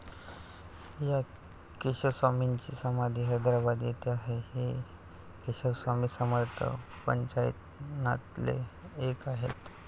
या केशवस्वामींची समाधी हैद्राबाद येथे आहे. हे केशवस्वामी समर्थ पंचायतनातले एक आहेत.